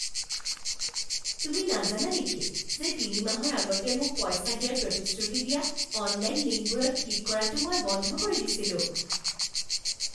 তুমি নাজানা নেকি যে তিনি মাহৰ আগতে মোক পইচা দিয়াৰ প্ৰতিশ্ৰুতি দিয়া অনলাইন লিংকবোৰত ক্লিক কৰাটো মই বন্ধ কৰি দিছিলোঁ?